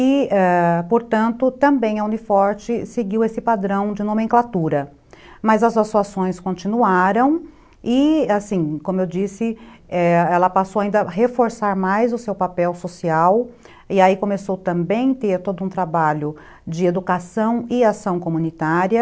E, ãh, portanto, também a Uni Forte seguiu esse padrão de nomenclatura, mas as assoações continuaram e, assim, como eu disse, ãh, ela passou ainda a reforçar mais o seu papel social e aí começou também a ter todo um trabalho de educação e ação comunitária.